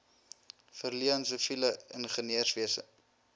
verleen siviele ingenieurswese